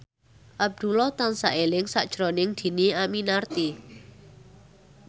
Abdullah tansah eling sakjroning Dhini Aminarti